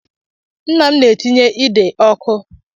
Nnam na-etinye ide ọkụ.